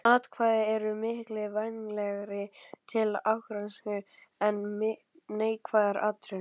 Hvatning er miklu vænlegri til árangurs en neikvæðar athugasemdir.